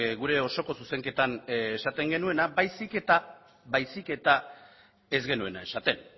gure osoko zuzenketan esaten genuena baizik eta ez genuena esaten